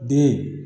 Den